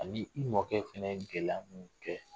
Ani i mɔkɛ fɛnɛ yé gɛlɛya mun kɛ.